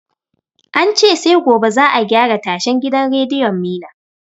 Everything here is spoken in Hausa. Ance sai gobe za a gyara tashan gidan rediyon mina